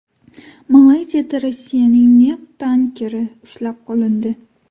Malayziyada Rossiyaning neft tankeri ushlab qolindi.